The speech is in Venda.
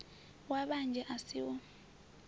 wa vhanzhi a si u